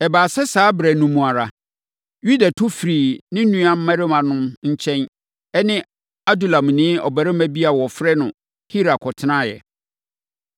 Ɛbaa sɛ saa ɛberɛ no ara mu, Yuda tu firii ne nuammarimanom no nkyɛn ne Adulamni ɔbarima bi a wɔfrɛ no Hira kɔtenaeɛ.